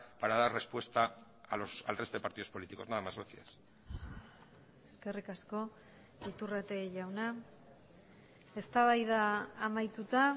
para dar respuesta al resto de partidos políticos nada más gracias eskerrik asko iturrate jauna eztabaida amaituta